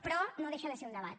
però no deixa de ser un debat